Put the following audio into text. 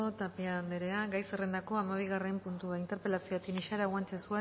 tapia anderea gai zerrendako hamabigarren puntua interpelazioa tinixara guanche